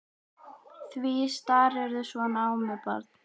Því starirðu svona á mig barn?